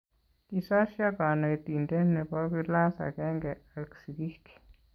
Kisosio konentinte nebo klass akenge ak sikiik.